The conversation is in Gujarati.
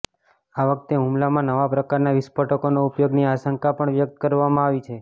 આ વખતે હુમલામાં નવા પ્રકારના વિસ્ફોટકોના ઉપયોગની આશંકા પણ વ્યક્ત કરવામાં આવી છે